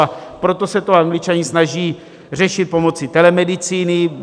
A proto se to Angličané snaží řešit pomocí telemedicíny.